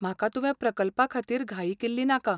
म्हाका तुवें प्रकल्पा खातीर घाई केल्ली नाका.